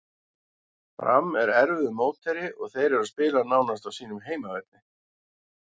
Fram er erfiður mótherji og þeir eru að spila nánast á sínum heimavelli.